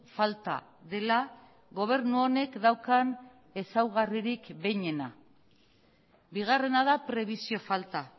falta dela gobernu honek daukan ezaugarririk behinena bigarrena da prebisio falta